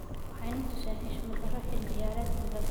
Waxay natusen xushmad daaro xili ciyaredkan dhaan.